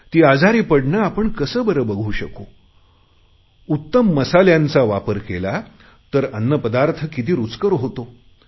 ती आजारी पडणे आपण कसे बरे बघू शकू उत्तम मसाल्यांचा वापर केला तर अन्नपदार्थ किती रुचकर होतो